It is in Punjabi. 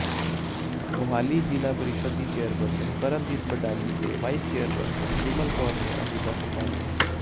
ਮੋਹਾਲੀ ਜਿਲ੍ਹਾ ਪ੍ਰੀਸ਼ਦ ਦੀ ਚੇਅਰਪਰਸ਼ਨ ਪਰਮਜੀਤ ਬਡਾਲੀ ਤੇ ਵਾਈਸ ਚੇਅਰਪਰਸਨ ਬਿਮਲ ਕੌਰ ਨੇ ਅਹੁਦਾ ਸੰਭਾਲਿਆ